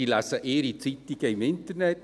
Sie lesen ihre Zeitungen im Internet.